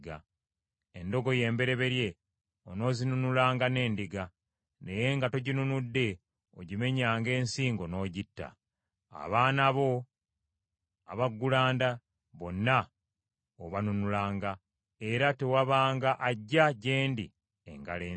Endogoyi embereberye onoozinunulanga n’endiga, naye nga toginunudde ogimenyanga ensingo n’ogitta. Abaana bo abaggulanda bonna obanunulanga. Era tewabanga ajja gye ndi engalo ensa.